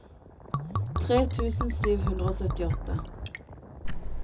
tre tusen sju hundre og syttiåtte